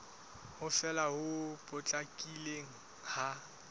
ho fela ho potlakileng ha